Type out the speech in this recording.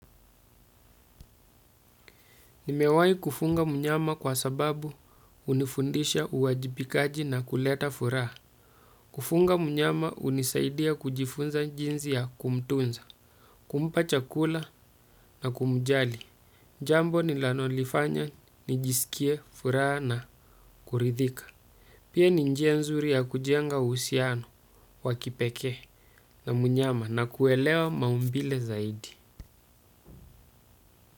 Nimewahi kufuga mnyama kwa sababu hunifundisha uwajibikaji na kuleta furaha. Kufunga mnyama hunisaidia kujifunza jinsi ya kumtunza, kumpa chakula na kumjali. Jambo ninalolifanya nijisikie furaha na kuridhika. Pia ni njia nzuri ya kujenga uhusiano wa kipekee na mnyama na kuelewa maumbile zaidi.